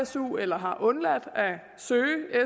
su eller har undladt at søge